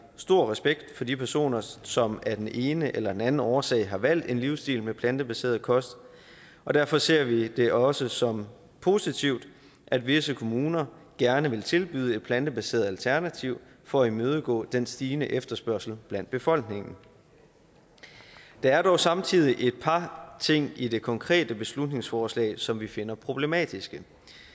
stor respekt for de personer som af den ene eller anden årsag har valgt en livsstil med plantebaseret kost og derfor ser vi det også som positivt at visse kommuner gerne vil tilbyde et plantebaseret alternativ for at imødekomme den stigende efterspørgsel blandt befolkningen der er dog samtidig et par ting i det konkrete beslutningsforslag som vi finder problematiske